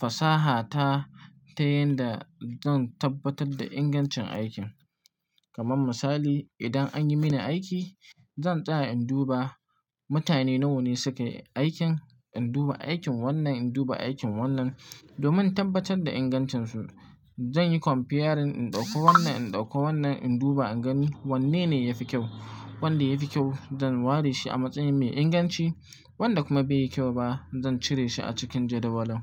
fasaha ta, ta yanda zan tabbatad da ingancin aikin. Kaman misali, idan an yi mini aiki, zan tsaya in duba mutane nawa ne sukai aikin, in duba aikin wannan, in duba aikin wannan. Domin in tabbatad da ingancinsu, jan yi comparing, in ɗauko wannan, in ɗauko wannan, in duba, in gani wanne ne ya fi kyau. Wanda ya fi kyau zan ware shi a matsayin mai inganci, wanda kuma bai yi kyau ba zan cire shi a cikin jadawalin.